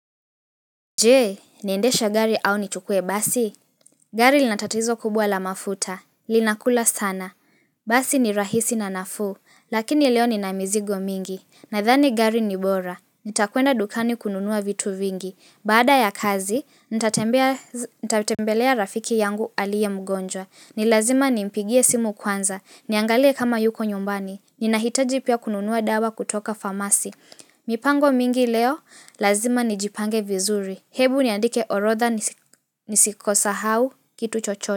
Jee, niendeshe gari au nichukue basi? Gari linatatizo kubwa la mafuta. Linakula sana. Basi ni rahisi na nafuu. Lakini leo nina mizigo mingi. Nadhani gari ni bora. Nitakwenda dukani kununua vitu vingi. Baada ya kazi, nitatembelea rafiki yangu aliye mgonjwa. Nilazima nimpigie simu kwanza. Niangalie kama yuko nyumbani. Ninahitaji pia kununua dawa kutoka famasi. Mipango mingi leo, lazima nijipange vizuri. Hebu niandike orodha nisikosahau kitu chochote.